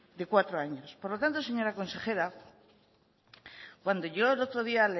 de cuatro años por lo tanto señora consejera cuando yo el otro día